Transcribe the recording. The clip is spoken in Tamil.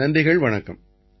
நன்றிகள் வணக்கம்